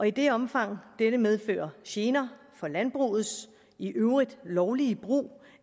i det omfang dette medfører gener for landbrugets i øvrigt lovlige brug